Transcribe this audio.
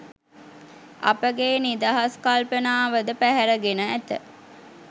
අපගේ නිදහස් කල්පනාව ද පැහැරගෙන ඇත.